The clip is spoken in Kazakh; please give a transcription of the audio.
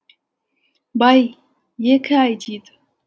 бай екі ай дейді